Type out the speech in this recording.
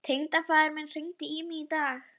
Þó vissu allir að reikningur hans stóð tæpt hjá